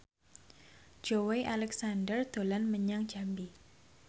Joey Alexander dolan menyang Jambi